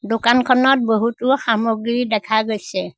দোকানখনত বহুতো সামগ্ৰী দেখা গৈছে।